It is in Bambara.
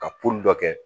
Ka poli dɔ kɛ